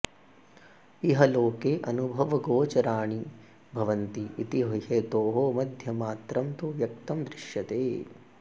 इह लोके अनुभवगोचराणि भवन्ति इति हेतोः मध्यमात्रं तु व्यक्तं दृश्यते